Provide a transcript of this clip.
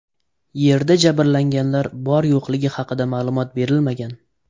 Yerda jabrlanganlar bor-yo‘qligi haqida ma’lumot berilmagan.